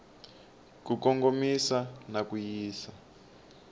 ku kongomisa na ku yisa